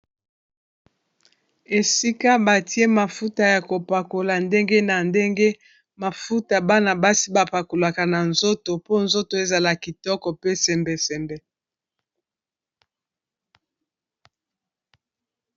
esika batie mafuta ya kopakola ndenge na ndenge mafuta bana basi bapakolaka na nzoto po nzoto ezala kitoko pe sembesembe